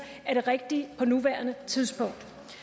er det rigtige på nuværende tidspunkt